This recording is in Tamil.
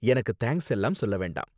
எனக்கு தேங்க்ஸ் எல்லாம் சொல்ல வேண்டாம்.